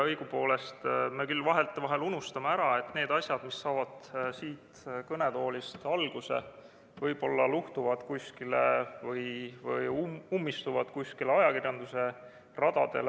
Õigupoolest me küll vahetevahel unustame ära, et need asjad, mis saavad siit kõnetoolist alguse, võib-olla luhtuvad või ummistuvad kuskil ajakirjanduse radadel.